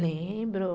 Lembro...